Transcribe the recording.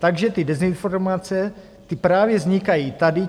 Takže ty dezinformace, ty právě vznikají tady.